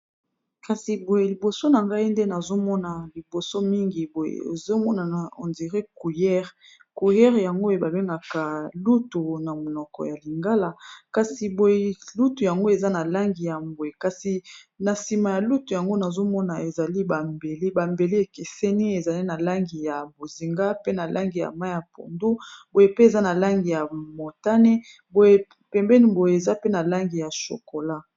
Kasi boye liboso na ngai nde nazomona liboso mingi boye ezomona na on dirait cuillère, cuillère yango babengaka lutu na monoko ya lingala, kasi boye lutu yango eza na langi ya mbwe kasi na nsima ya lutu yango nazomona ezali bambeli bambelu ekeseni ezali na langi ya bozinga pe na langi ya mai ya pondo, boye pe eza na langi ya motane pembeni boye eza pe na langi ya chokola.